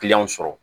sɔrɔ